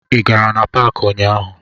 Ị gara na paakị ụnyaahụ?